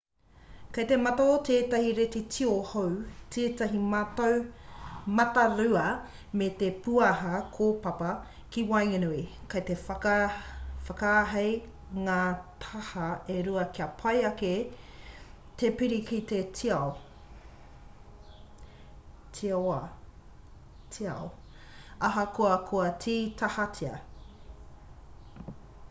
kei te mata o tētahi reti tio hou tētahi matarua me te pūaha kōpapa ki waenganui kei te whakaahei ngā taha e rua kia pai ake te piri ki te tiao ahakoa kua tītahatia